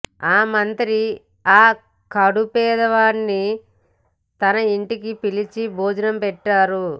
ఆ మంత్రి ఆ కడు పేదవారిని తన ఇంటికి పిలిచి భోజనం పెట్టారు